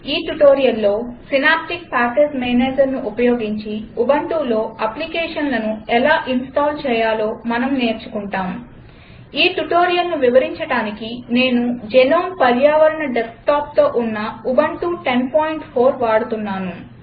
ఈ ట్యుటోరియల్లో synaptic package Managerను ఉపయోగించి ఉబంటులో అప్లికేషన్లను ఎలా ఇన్స్టాల్ చేయాలో మనం నేర్చుకుంటాం ఈ ట్యుటోరియల్ను వివరించడానికి నేను జెనోమ్ పర్యావరణ డెస్క్టాప్తో ఉన్న ఉబంటు 1004 వాడుతున్నాను